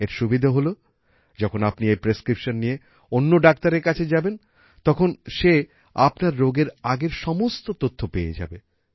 এর সুবিধে হল যখন আপনি এই প্রেসক্রিপশন নিয়ে অন্য ডাক্তারের কাছে যাবেন তখন সে আপনার রোগের আগের সমস্ত তথ্য পেয়ে যাবে